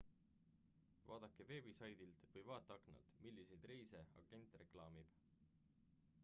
vaadake veebisaidilt või vaateaknalt milliseid reise agent reklaamib